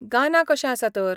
गाना कशें आसा तर?